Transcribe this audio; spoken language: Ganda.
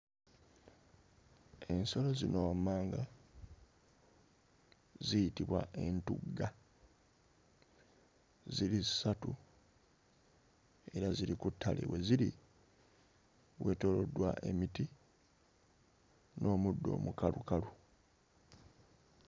Ensolo zino wammanga ziyitibwa entugga. Ziri ssatu era ziri ku ttale. We ziri weetooloddwa emiti n'omuddo omukalukalu.